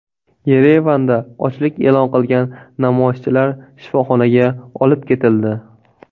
Yerevanda ochlik e’lon qilgan namoyishchilar shifoxonaga olib ketildi.